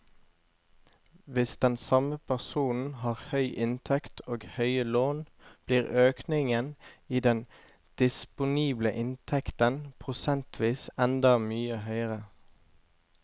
Hvis den samme personen har høy inntekt og høye lån, blir økningen i den disponible inntekten prosentvis enda mye høyere.